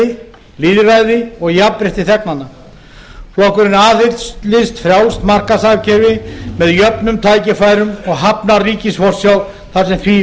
frjálsræði lýðræði og jafnrétti þegnanna flokkurinn aðhyllist frjálst markaðshagkerfi með jöfnum tækifærum og hafnar ríkisforsjá þar sem því